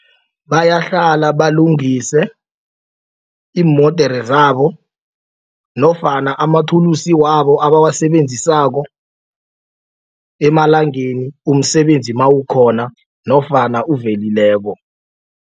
Bayahlala balungise iimodere zabo nofana amathulusi wabo abawasebenzisako emalangeni umsebenzi mawukhona nofana uvelileko.